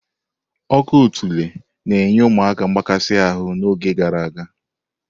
Ọkọ̀ otula na nye ụmụaka mgbakasi ahụ n'oge gara aga.